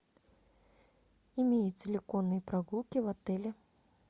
имеются ли конные прогулки в отеле